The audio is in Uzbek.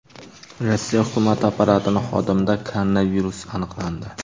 Rossiya hukumati apparatining xodimida koronavirus aniqlandi.